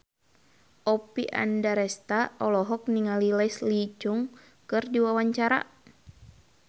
Oppie Andaresta olohok ningali Leslie Cheung keur diwawancara